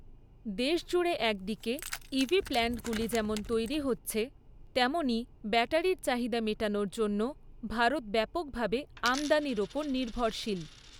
দেশজুড়ে একদিকে ইভি প্ল্যাণ্টগুলি যেমন তৈরী হচ্ছে, তেমনই ব্যাটারির চাহিদা মেটানোর জন্য ভারত ব্যাপকভাবে আমদানির ওপর নির্ভরশীল।